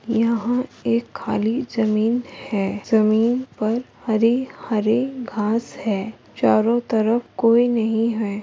यहाँ एक खाली जमीन है जमीन पर हरी हरी घास है चारो तरफ कोई नहीं है ।